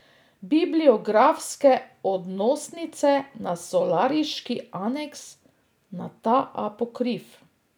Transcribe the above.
Bibliografske odnosnice na solariški aneks, na ta Apokrif.